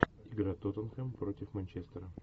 игра тоттенхэм против манчестера